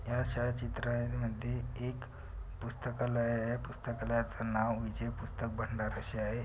चित्रा मध्ये एक पुस्तकालाय आहे पुस्तकालायच नाव विजय पुस्तक भंडार अशे आहे.